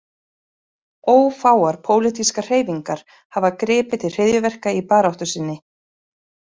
Ófáar pólitískar hreyfingar hafa gripið til hryðjuverka í baráttu sinni.